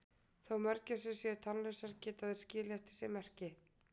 Þó mörgæsir séu tannlausar geta þær skilið eftir sig merki.